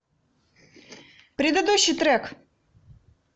предыдущий трек